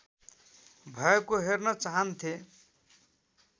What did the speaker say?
भएको हेर्न चाहन्थे